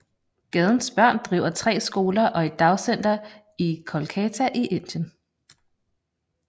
Gadens Børn driver tre skoler og et dagcenter i Kolkata i Indien